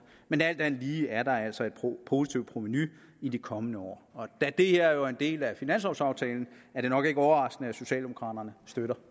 men alt andet lige er der altså et positivt provenu i de kommende år og da det her jo er en del af finanslovaftalen er det nok ikke overraskende at socialdemokraterne støtter